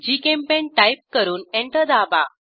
GChemPaint type करून enter दाबा